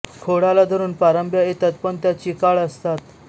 खोडाला धरून पारंब्या येतात पण त्या चिकाळ असतात